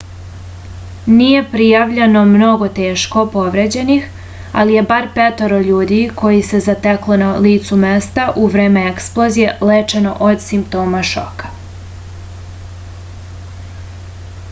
nije prijavljeno mnogo teško povređenih ali je bar petoro ljudi koje se zateklo na licu mesta u vreme eksplozije lečeno od simptoma šoka